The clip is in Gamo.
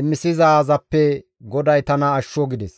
imisizaazappe GODAY tana ashsho» gides.